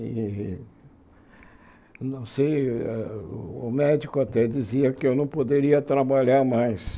E, não sei, o médico até dizia que eu não poderia trabalhar mais.